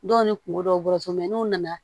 Dɔw ni kungo dɔw bɔ so n'u nana